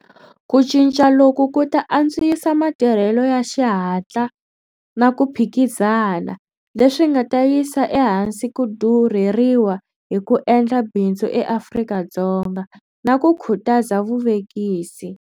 Ku cinca loku ku ta antswisa matirhelo ya xihatla na ku phikizana, leswi nga ta yisa ehansi ku durheriwa hi ku endla bindzu eAfrika-Dzonga, na ku khutaza vuvekisi